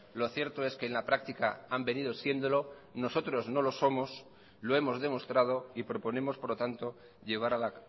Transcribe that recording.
lo cierto es que en la práctica han venido siéndolo nosotros no lo somos lo hemos demostrado y proponemos por lo tanto llevar a la